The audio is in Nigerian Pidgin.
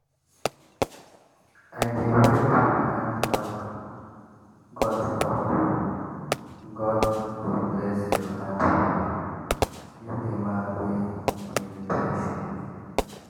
i dey wave hand talk “god talk “god go bless your handwork” give the man wey dey repair shoe